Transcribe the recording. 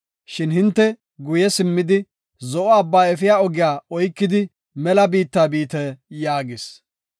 Shin hinte guye simmidi, Zo7o Abbaa efiya ogiya oykidi, mela biitta biite” yaagis.